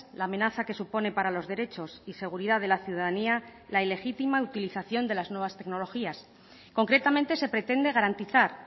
la amenaza que supone para los derechos y seguridad de la ciudadanía la ilegítima utilización de las nuevas tecnologías concretamente se pretende garantizar